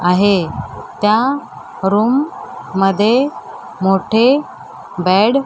आहे त्या रूम मध्ये मोठे बेड --